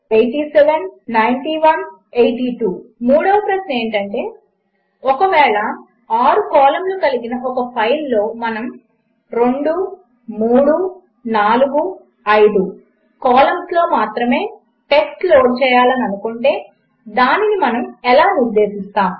student marks747856879182 మూడవ ప్రశ్న ఏమిటంటే ఒకవేళ 6 కాలంస్ కలిగిన ఒక ఫైల్లో మనము 2345 కాలంస్లో మాత్రమే టెక్స్ట్ లోడ్ చేయాలని అనుకుంటే దానిని మనము ఎలా నిర్దేశిస్తాము